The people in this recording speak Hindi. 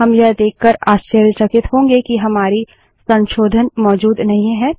हम यह देककर आश्चर्यचकित होंगे कि हमारे संशोधन मौजूद नहीं हैं